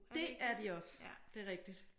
Det er de også. Det er rigtigt